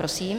Prosím.